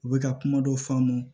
U bɛ ka kuma dɔ f'an ma